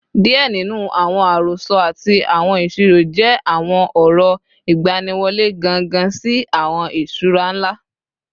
Diẹ ninu awọn arosọ ati awọn isiro jẹ awọn ọrọ igbaniwọle gangan si awọn iṣura nla